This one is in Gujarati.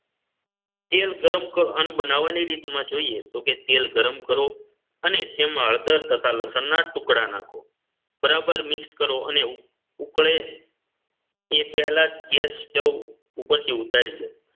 તેલ ગરમ કર અને બનાવવાની રીતમાં જોઈએ તો કે તેલ ગરમ કરો અને તેમાં હળદર તથા લસણના ટુકડા નાખો બરાબર mix કરો અને ઊકળે એ પહેલા જ ગેસ stove ઉપરથી ઉતારી લો